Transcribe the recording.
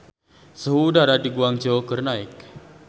Suhu udara di Guangzhou keur naek